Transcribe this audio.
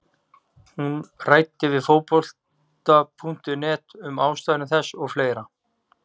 Hún ræddi við Fótbolta.net um ástæður þess og fleira.